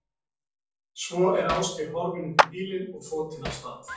Svo er Ásgeir horfinn upp í bílinn og þotinn af stað.